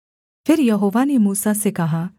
फिर यहोवा ने मूसा से कहा